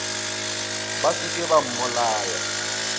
ba se ke ba mmolaya